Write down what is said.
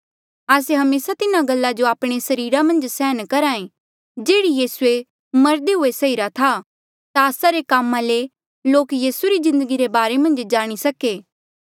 आस्से हमेसा तिन्हा गल्ला जो आपणे सरीरा मन्झ सैहन करहे जेहड़ी यीसूऐ मरदे हुए सैहीरा था ताकि आस्सा रे कामा ले लोक यीसू री जिन्दगी रे बारे मन्झ जाणी सके